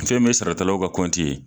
Fɛ min ye saratalaw ka kɔnti ye